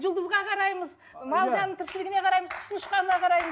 жұлдызға қараймыз мал жанның тіршілігіне қараймыз